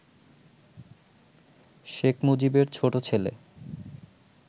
শেখ মুজিবের ছোট ছেলে